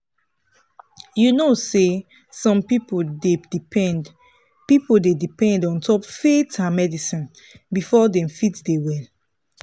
you know say some people dey depend people dey depend ontop faith and medicine before dem fit dey well.